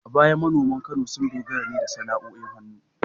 A baya manoman Kano sun dogara ne da sana’o’in hannu